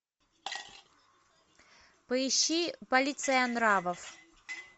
поищи полиция нравов